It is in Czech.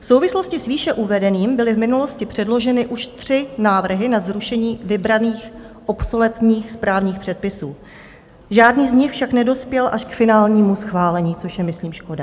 V souvislosti s výše uvedeným byly v minulosti předloženy už tři návrhy na zrušení vybraných obsoletních správních předpisů, žádný z nich však nedospěl až k finálnímu schválení, což je myslím škoda.